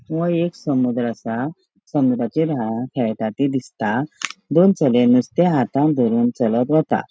वो एक समुद्र असा समुद्राचेर खेळटा थे दिसता दोन चले नुस्ते हातान दरूनु चलत वता.